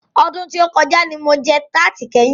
Ọdún tí o kọjá ní mo jẹ tarti kẹ́yin.